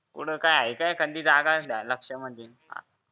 कुठं आहे का कुठं एखादी जागा ध्यानात डोक्यामधि